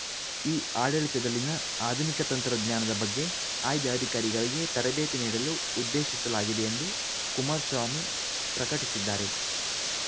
ಇಆಡಳಿತದಲ್ಲಿನ ಆಧುನಿಕ ತಂತ್ರಜ್ಞಾನದ ಬಗ್ಗೆ ಆಯ್ದ ಅಧಿಕಾರಿಗಳಿಗೆ ತರಬೇತಿ ನೀಡಲು ಉದ್ದೇಶಿಸಲಾಗಿದೆ ಎಂದು ಕುಮಾರಸ್ವಾಮಿ ಪ್ರಕಟಿಸಿದ್ದಾರೆ